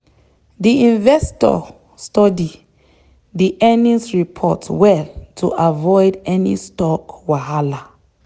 the investor study the earnings report well to avoid any stock wahala.